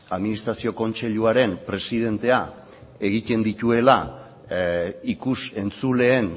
administrazio kontseiluaren presidentea egiten dituela ikus entzuleen